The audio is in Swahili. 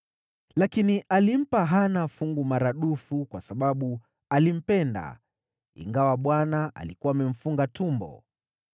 Lakini alimpa Hana fungu maradufu kwa sababu alimpenda, ingawa Bwana alikuwa amemfunga tumbo.